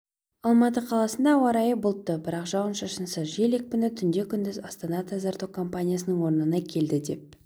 алматы қаласында ауа райы бұлтты бірақ жауын-шашынсыз жел екпіні түнде күндіз астана-тазарту компаниясының орнына келді деп